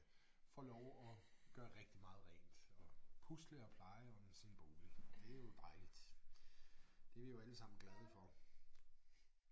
Får lov at gøre rigtig meget rent og pusle og pleje om sin bolig det er jo dejligt det vi jo alle sammen glade for